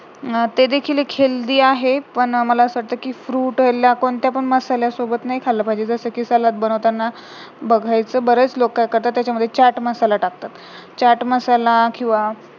ते देखील एक healthy आहे पण मला असं वाटतं कि fruit ला कोणत्या पण मसाल्या सोबत नाही खाल्लं पाहिजे जसेकी salad बनवताना बघायचं बरेच लोकं आहेत जे त्याच्यामध्ये चाट मसाला टाकतात, चाट मसाला किंवा